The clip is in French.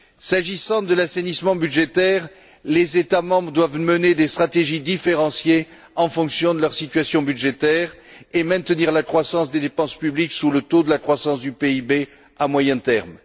S'agissant de l'assainissement budgétaire, les États membres doivent mener des stratégies différenciées en fonction de leur situation budgétaire et maintenir la croissance des dépenses publiques sous le taux de la croissance du PIB à moyen terme.